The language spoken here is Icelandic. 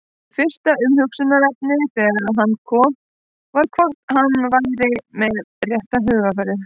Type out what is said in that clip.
Mitt fyrsta umhugsunarefni þegar hann kom var hvort hann væri með rétta hugarfarið?